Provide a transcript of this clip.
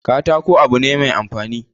Katako abu ne mai amfani